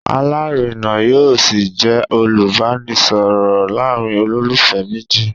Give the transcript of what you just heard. Alárina yóò ṣì jẹ́ olùbánisọ̀rọ̀ láàárín olólùfẹ́ méjì